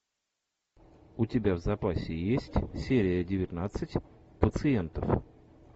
у тебя в запасе есть серия девятнадцать пациентов